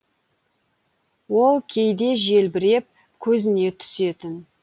ол кейде желбіреп көзіне түсетін